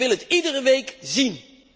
Ik wil het iedere week zien.